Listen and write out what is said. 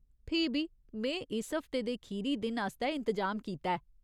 फ्ही बी, में इस हफ्ते दे खीरी दिन आस्तै इंतजाम कीता ऐ।